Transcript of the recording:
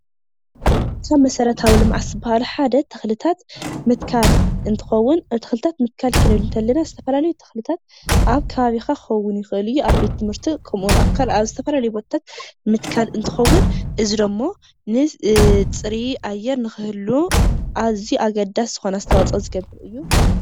ካብ መሰረታዊ ልምዓት ዝበሃሉ ሓደ ተክልታት ምትካል እንትከዉን ተክልታት ምትካል ክንብል እንከለና ዝተፈላልዩ ተክልታት ኣብ ከባቢካ ክከዉን ይክእል እዩ:: ኣብ ቤት ትምርቲ ከምኡ ውን ኣብ ዝተፈላለዩ ቦታታት ምትካል እንትከዉን እዚ ድማ ፅሩይ ኣየር ንክህሉ ኣዝዩ ኣገዳሲ ዝኮነ ኣስተዋፅኦ ዝገብር እዩ።